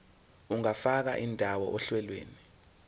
ungafaka indawo ohlelweni